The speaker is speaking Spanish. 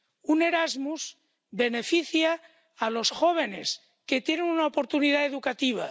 Un Erasmus beneficia a los jóvenes, que tienen una oportunidad educativa.